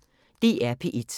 DR P1